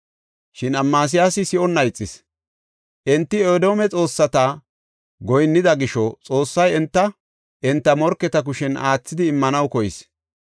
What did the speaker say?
Shin Amasiyaasi si7onna ixis. Enti Edoome xoossata goyinnida gisho Xoossay enta, enta morketa kushen aathidi immanaw koyis.